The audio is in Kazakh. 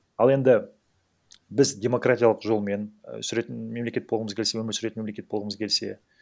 ал енді біз демократиялық жолмен і сүретін мемлекет болғымыз келсе өмір сүретін мемлекет болғымыз келсе